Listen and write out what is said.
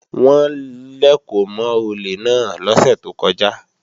Wọ́n lèkò mọ́ olè náà lọ́sẹ̀ tó kọjá